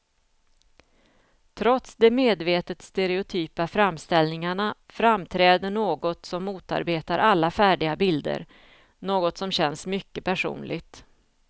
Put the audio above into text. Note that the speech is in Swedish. Trots de medvetet stereotypa framställningarna framträder något som motarbetar alla färdiga bilder, något som känns mycket personligt.